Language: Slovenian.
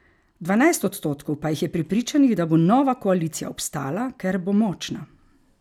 Dvanajst odstotkov pa jih je prepričanih, da bo nova koalicija obstala, ker bo močna.